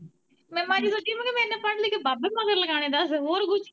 ਮੈਂ ਮਾੜੀ ਸੋਚੀ ਮੈਂ ਕਿਹਾ ਮੈਂ ਇੰਨਾ ਪੜ ਲਿਖ ਬਾਬੇ ਮਗਰ ਲਗਾਉਣੇ ਦੱਸ ਹੋਰ ਕੁੱਝ।